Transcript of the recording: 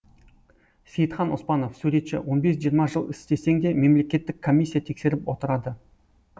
сейітхан оспанов суретші он бес жиырма жыл істесең де мемлекеттік комиссия тексеріп отырады